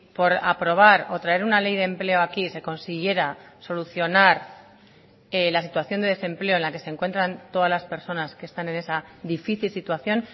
por aprobar o traer una ley de empleo aquí se consiguiera solucionar la situación de desempleo en la que se encuentran todas las personas que están en esa difícil situación